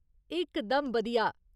इक दम बधिया !